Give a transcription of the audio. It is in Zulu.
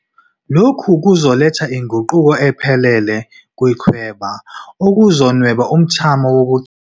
Lokhu kuzoletha inguquko ephelele kwichweba, okuzonweba umthamo wokugcina.